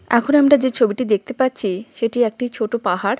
এখন আমরা যে ছবিটি দেখতে পাচ্ছি সেটি একটি ছোট পাহাড়।